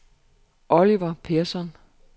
Oliver Persson